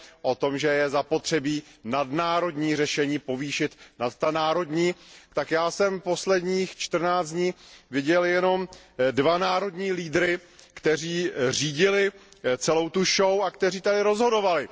o tom, že je zapotřebí nadnárodní řešení povýšit nad ta národní, tak já jsem posledních čtrnáct dní viděl jenom dva národní lídry, kteří řídili celou show a kteří tady rozhodovali.